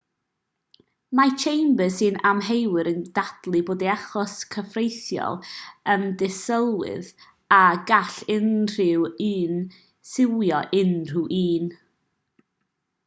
mae chambers sy'n amheuwr yn dadlau bod ei achos cyfreithiol yn ddisylwedd a gall unrhyw un siwio unrhyw un